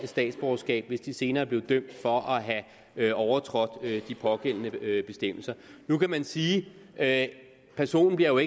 statsborgerskab hvis de senere bliver dømt for at have overtrådt de pågældende bestemmelser nu kan man sige at personen bliver